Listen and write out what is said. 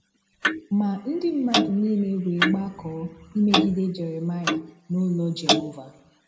Ma ndị mmadụ niile wee gbakọọ imegide Jeremaia n'ulo Jehova.